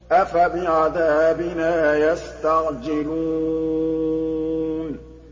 أَفَبِعَذَابِنَا يَسْتَعْجِلُونَ